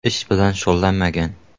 Ish bilan shug‘ullanmagan.